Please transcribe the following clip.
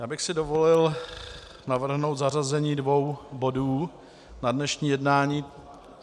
Já bych si dovolil navrhnout zařazení dvou bodů na dnešní jednání.